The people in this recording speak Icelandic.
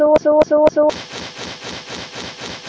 Og þú ert Drífa?